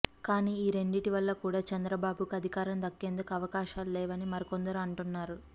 కానీ ఈ రెండిటి వల్ల కూడా చంద్రబాబుకు అధికారం దక్కేందుకు అవకాశాలు లేవని మరికొందరు అంటున్నారు